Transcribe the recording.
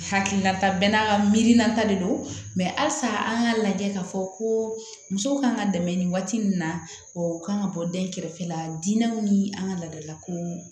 Hakilina ta bɛɛ n'a ka miirina ta de don halisa an k'a lajɛ k'a fɔ ko muso kan ka dɛmɛ nin waati min na o kan ka bɔ den kɛrɛfɛ la diinɛw ni an ka laadalako